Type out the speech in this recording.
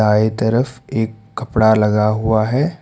By तरफ एक कपड़ा लगा हुआ है।